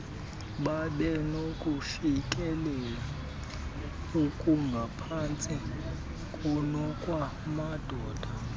babenokufikelela okungaphantsi kunokwamadoda